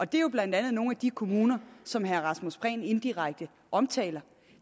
det er jo blandt andet nogle af de kommuner som herre rasmus prehn indirekte omtaler